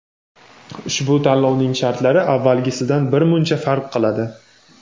ushbu tanlovning shartlari avvalgisidan birmuncha farq qiladi.